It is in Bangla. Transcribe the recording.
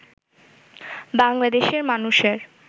বাংলাদেশের মানুষের